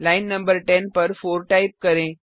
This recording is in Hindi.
लाइन न 10 पर 4 टाइप करें